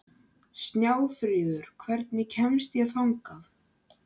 Snjáfríður, hvernig kemst ég þangað?